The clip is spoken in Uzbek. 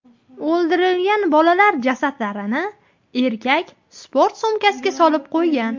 O‘ldirilgan bolalar jasadlarini erkak sport sumkasiga solib qo‘ygan.